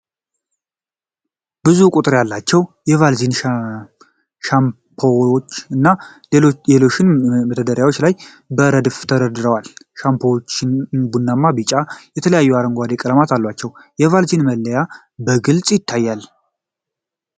ብዙ ቁጥር ያላቸው የ *ቫዝሊን* ሻምፖዎች እና ሎሽኖች በመደርደሪያዎች ላይ በረድፍ ተደርድረዋል። ሻምፖዎቹ ቡናማ፣ ቢጫ እና የተለያዩ አረንጓዴ ቀለሞች አሏቸው። የ *ቫዝሊን* መለያዎች በግልጽ ይታያሉ።